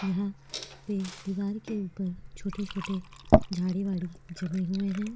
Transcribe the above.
यहाँ पे दीवार के ऊपर छोटे-छोटे झाड़ी-वाड़ी जमे हुए हैं।